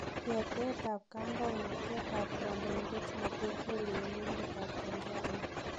Yeteet ab kandoinantet ab kandoindet Magefuli en emet ab Tanzania.